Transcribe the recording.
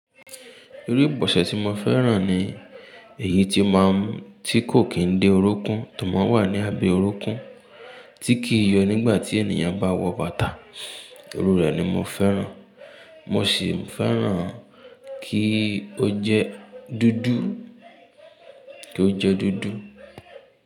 Irú ìbọ̀sẹ̀ tí mo fẹ́ràn ni èyí tí máa ń tí kò kí ń dé orúnkún, tò mọ́ wà ní abẹ́ orúnkún tí kì í yọ nígbà tí ènìyàn bá wọ bàtà. Iru rẹ̀ ni mo fẹ́ràn. Mo sì fẹ́ràn kí ó jẹ́ dúdú, kí ó jẹ́ dúdú.